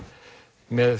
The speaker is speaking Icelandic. með